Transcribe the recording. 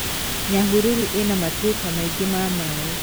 Nyahururu ĩna matuĩka maingĩ ma maĩ.